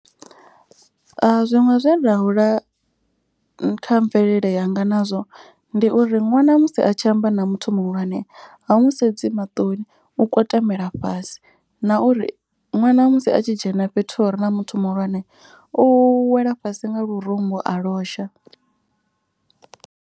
Zwiṅwe zwe ra hula kha mvelele yanga nazwo ndi uri ṅwana musi a tshi amba na muthu muhulwane ha mu sedzi maṱoni u kwatamela fhasi. Na uri ṅwana musi a tshi dzhena fhethu hure na muthu muhulwane u wela fhasi nga lurumbu a losha.